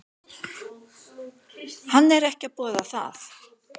Hann er ekki að boða það.